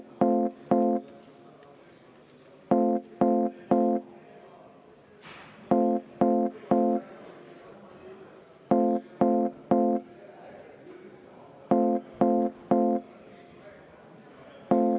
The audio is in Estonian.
Aseesimees võtab kümme minutit vaheaega.